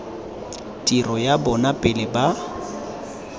tiro ya bona pele ba